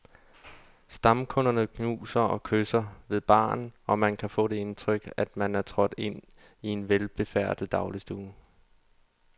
Stamkunderne knuser og kysser ved baren, og man kan få det indtryk, at man er trådt ind i en velbefærdet dagligstue.